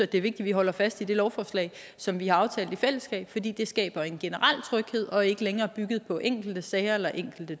det er vigtigt vi holder fast i det lovforslag som vi har aftalt i fællesskab fordi det skaber en generel tryghed og er ikke længere bygget på enkelte sager eller enkelte